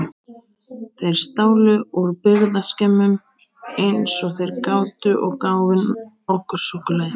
Þeir stálu úr birgðaskemmum eins og þeir gátu og gáfu okkur súkkulaði.